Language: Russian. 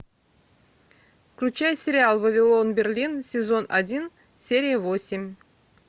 включай сериал вавилон берлин сезон один серия восемь